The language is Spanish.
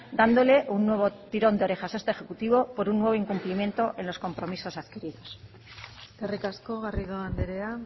dándole un nuevo tirón de orejas a este ejecutivo por un nuevo incumplimiento en los compromisos adquiridos eskerrik asko garrido andrea